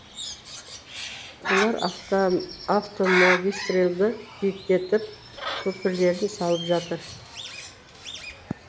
олар автомагистральді биіктетіп көпірлерін салып жатыр